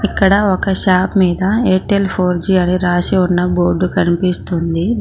అక్కడ ఒక షాప్ మీద ఎయిర్టెల్ ఫోర్ జి రాసి ఉన్న బోర్డు కనిపిస్తుంది.